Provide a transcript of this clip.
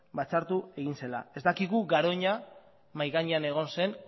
ez dakigu garoña mahai gainean egon zen